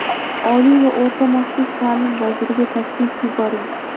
Oliy va o‘rta maxsus ta’lim vaziriga taklif yuboring.